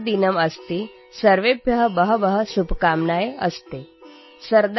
अस्मि | अद्य संस्कृतदिनम् अस्ति | सर्वेभ्यः बहव्यः